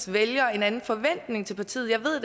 vælgere en anden forventning til partiet jeg ved